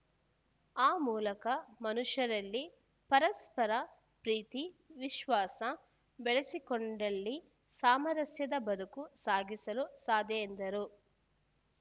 ಆ ಮೂಲಕ ಮನುಷ್ಯರಲ್ಲಿ ಪರಸ್ಪರ ಪ್ರೀತಿ ವಿಶ್ವಾಸ ಬೆಳೆಸಿಕೊಂಡಲ್ಲಿ ಸಾಮರಸ್ಯದ ಬದುಕು ಸಾಗಿಸಲು ಸಾಧ್ಯ ಎಂದರು